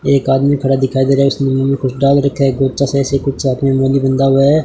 एक आदमी खड़ा दिखाई दे रहा है है।